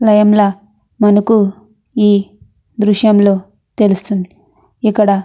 Name లా మనకు ఈ దృశ్యంలో తెలుస్తుంది. ఇక్కడ--